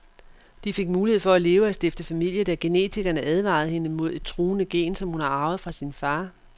De fik mulighed for at leve og stifte familie, da genetikerne advarede hende mod et truende gen, som hun har arvet fra sin far.